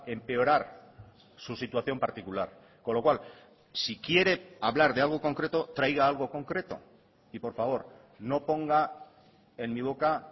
empeorar su situación particular con lo cual si quiere hablar de algo concreto traiga algo concreto y por favor no ponga en mi boca